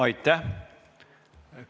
Aitäh!